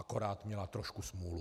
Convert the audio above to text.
Akorát má trošku smůlu.